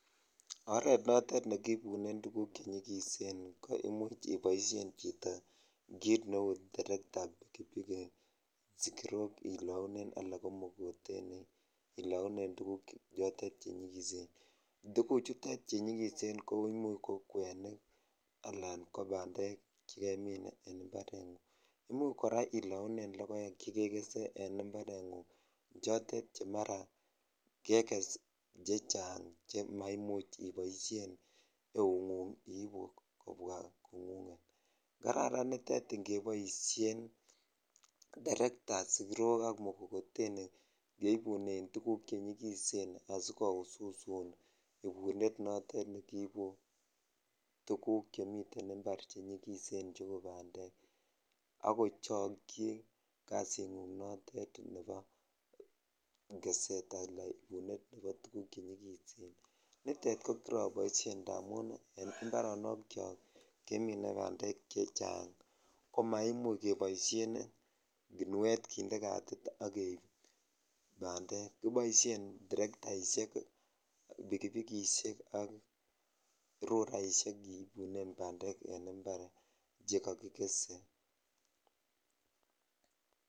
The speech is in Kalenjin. oret notet negiibunen tuguuk chegisen koimuch iboishen chito kiit terekta, sigirook ilounen anan ko mkokoteni ilounen tuguk chuotet chenyigiseen, tuguuk chutet chenyigisen koimuuch ko kwenik alan ko bandeek chegemiin en imbarengung, imuch koraa ilounen logoek chegegese en imbaret ngung chotet che mara keges chechang chemaimuch iboishen eeutngung iibu kobwa kongunget, kararan nitet ningeboishen terekta anan mkokoteni keibunen tuguuk chotet chenyigisen asigoususun ibunet noton negiibu tuguk chemiten imbaar chenyigisen cheuu bandeek ak kochokyi kasiit nguung noteet nebo keseet alaan ibunet ngo tuguuk chenyigisen, niteet koriroboishen ndamuun en imbaronok chook kemine bandeek chechang komaimuch keboishen chenyigisen kinuet kinde kaatit iih ak keiib bandeek, kiboishen terettaishek, pikipikishek ak rulaishek keibunen bandeek en imbaar chegogigese